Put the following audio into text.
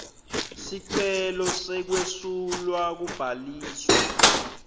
sicelo sekwesulwa kubhaliswa